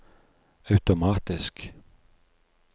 automatisk